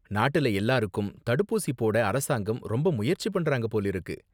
நாட்டுல எல்லாருக்கும் தடுப்பூசி போட அரசாங்கம் ரொம்ப முயற்சி பண்றாங்க போலிருக்கு.